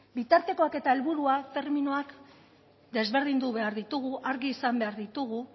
bitartekoak eta helburuak terminoak desberdindu behar ditugu argi izan behar ditugu